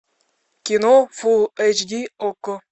кино фул эйч ди окко